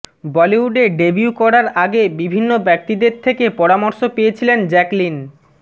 বলিউডে ডেবিউ করার আগে বিভিন্ন ব্যক্তিদের থেকে পরামর্শ পেয়েছিলেন জ্যাকলিন